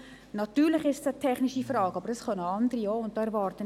Natürlich ist es eine technische Frage, aber diese können auch andere beantworten.